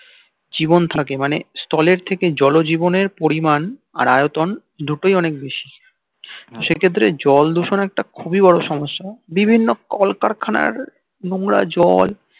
জীবন থাকে মানে স্থলের থেকে জল জীবনের পরিমান আর আয়তন দুটোই অনেক বেশি সেক্ষেত্রে জল দূষণ একটা খুবই বড় সমস্য়া বিভিন্ন কলকারখানার নোংরা জল